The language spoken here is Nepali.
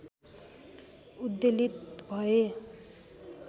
उद्वेलित भएँ